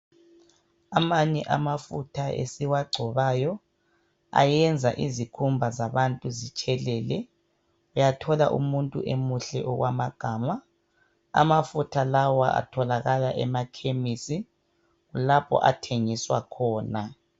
Amanye amafutha esiwagcobayo ayenza izikhumba zabantu zitshelele uyathola umuntu emuhle okwamagama amafutha lawa atholakala emakhemisi kulapho ethengiswa khona.